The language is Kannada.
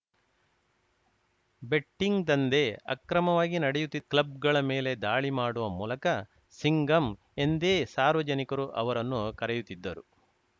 ಬೆಟ್ಟಿಂಗ್‌ ದಂಧೆ ಅಕ್ರಮವಾಗಿ ನಡೆಯುತ್ತಿದ್ದ ಕ್ಲಬ್‌ಗಳ ಮೇಲೆ ದಾಳಿ ಮಾಡುವ ಮೂಲಕ ಸಿಂಗಂ ಎಂದೇ ಸಾರ್ವಜನಿಕರು ಅವರನ್ನು ಕರೆಯುತ್ತಿದ್ದರು